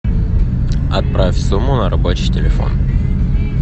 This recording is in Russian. отправь сумму на рабочий телефон